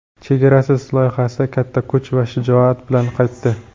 "Chegarasiz" loyihasi katta kuch va shijoat bilan qaytdi!.